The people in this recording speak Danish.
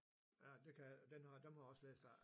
Ja det kan jeg ikke dem har jeg også læst af